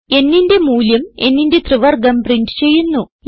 nന്റെ മൂല്യവും nന്റെ ത്രിവർഗവും പ്രിന്റ് ചെയ്യുന്നു